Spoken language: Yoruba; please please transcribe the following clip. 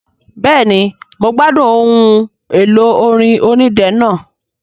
Bẹ́ẹ̀ni mo gbádùn ohun èlò orin onídẹ náà